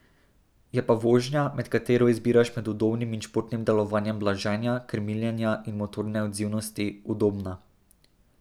Je pa vožnja, med katero izbiraš med udobnim in športnim delovanjem blaženja, krmiljenja in motorne odzivnosti, udobna.